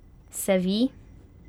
Se vi?